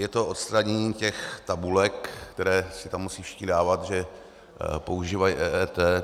Je to odstranění těch tabulek, které si tam musí všichni dávat, že používají EET.